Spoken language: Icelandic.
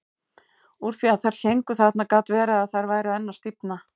Úr því að þær héngu þarna gat verið að þær væru enn að stífna.